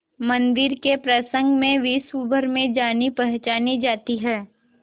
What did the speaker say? मंदिर के प्रसंग में विश्वभर में जानीपहचानी जाती है